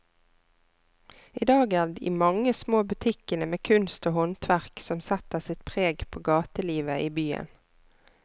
I dag er det de mange små butikkene med kunst og håndverk som setter sitt preg på gatelivet i byen.